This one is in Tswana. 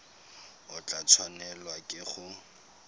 o tla tshwanelwa ke go